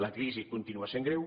la crisi continua sent greu